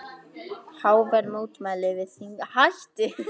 Hávær mótmæli við þinghúsið